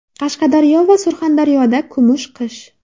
Qashqadaryo va Surxondaryoda kumush qish.